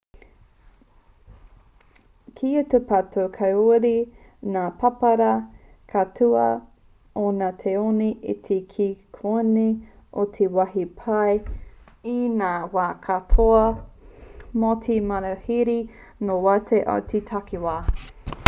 kia tūpato kāore ngā pāpara kauta o ngā tāone iti ki konei i te wāhi pai i ngā wā katoa mō te manuhiri nō waho i te takiwā